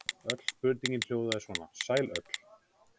Öll spurningin hljóðaði svona: Sæl öll.